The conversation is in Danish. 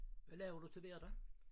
Hvad laver du til hverdag?